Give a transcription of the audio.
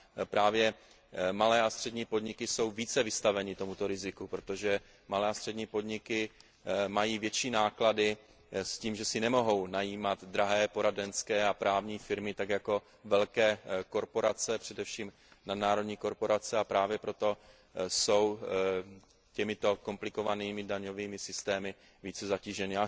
Právě malé a střední podniky jsou více vystaveny tomuto riziku, protože malé a střední podniky mají větší náklady související s tím, že si nemohou najímat drahé poradenské a právní firmy, tak jako velké korporace, především nadnárodní korporace, a právě proto jsou těmito komplikovanými daňovými systémy více zatíženy.